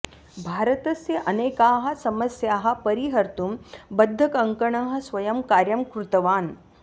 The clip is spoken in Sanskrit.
भारतस्य अनेकाः समस्याः परिहर्तुं बद्धकङ्कणः स्वयं कार्यं कृतवान्